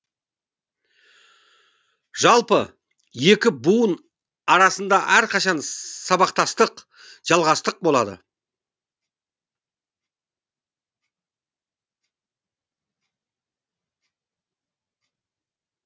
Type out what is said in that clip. жалпы екі буын арасында әрқашан сабақтастық жалғастық болады